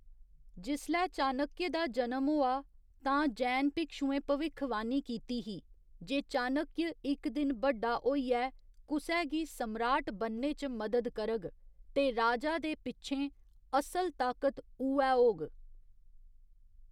जिसलै चाणक्य दा जनम होआ, तां जैन भिक्षुएं भविक्खवाणी कीती ही जे चाणक्य इक दिन बड्डा होइयै कुसै गी सम्राट बनने च मदद करग ते राजा दे पिच्छें असल ताकत उ'ऐ होग।